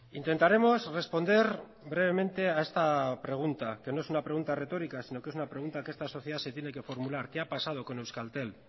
intentaremos responder brevemente a esta pregunta que no es una pregunta retórica sino que es una pregunta que esta sociedad se tiene que formular qué ha pasado con euskaltel